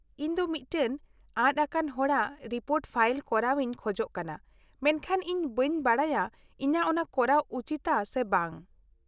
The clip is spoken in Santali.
-ᱤᱧ ᱫᱚ ᱢᱤᱫᱴᱟᱝ ᱟᱫᱽ ᱟᱠᱟᱱ ᱦᱚᱲᱟᱜ ᱨᱤᱯᱳᱨᱴ ᱯᱷᱟᱭᱤᱞ ᱠᱚᱨᱟᱣ ᱤᱧ ᱠᱷᱚᱡ ᱠᱟᱱᱟ, ᱢᱮᱱᱠᱷᱟᱱ ᱤᱧ ᱵᱟᱹᱧ ᱵᱟᱰᱟᱭᱟ ᱤᱧᱟᱹᱜ ᱚᱱᱟ ᱠᱚᱨᱟᱣ ᱩᱪᱤᱛᱟ ᱥᱮ ᱵᱟᱝ ᱾